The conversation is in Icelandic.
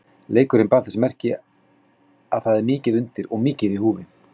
Leikurinn bar þess merki að það er mikið undir og mikið í húfi.